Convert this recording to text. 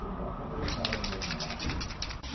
Ele deu uma canivetada no meu irmão.